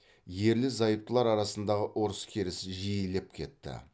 ерлі зайыптылар арасындағы ұрыс керіс жиілеп кетті